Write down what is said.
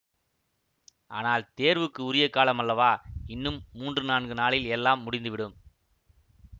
ஆனால் தேர்வுக்கு உரிய காலம் அல்லவா இன்னும் மூன்று நான்கு நாளில் எல்லாம் முடிந்து விடும்